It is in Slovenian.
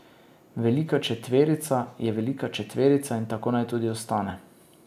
Velika četverica je velika četverica in tako naj tudi ostane.